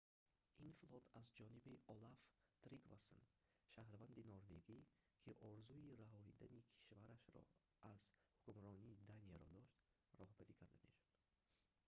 ин флот аз ҷониби олаф тригвассон шаҳрванди норвегӣ ки орзуи раҳоидани кишвараш аз ҳукмронии данияро дошт роҳбарӣ карда мешуд